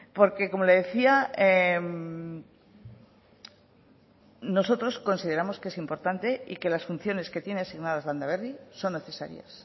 porque como le decía nosotros consideramos que es importante y que las funciones que tiene asignadas landaberri son necesarias